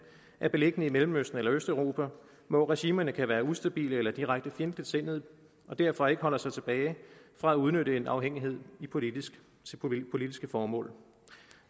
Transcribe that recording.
er beliggende i mellemøsten eller østeuropa hvor regimerne kan være ustabile eller direkte fjendtligsindede og derfor ikke holder sig tilbage fra at udnytte en afhængighed til politiske politiske formål